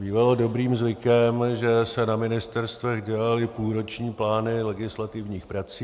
Bývalo dobrým zvykem, že se na ministerstvech dělaly půlroční plány legislativních prací.